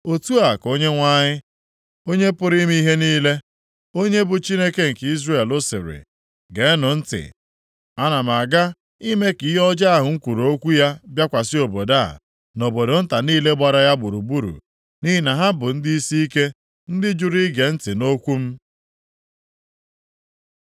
“Otu a ka Onyenwe anyị, Onye pụrụ ime ihe niile, onye bụ Chineke nke Izrel sịrị, ‘Geenụ ntị! Ana m aga ime ka ihe ọjọọ ahụ m kwuru okwu ya bịakwasị obodo a, na obodo nta niile gbara ya gburugburu, nʼihi na ha bụ ndị isiike, ndị jụrụ ige ntị nʼokwu m.’ ”